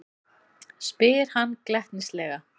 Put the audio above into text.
spyr hann glettnislega.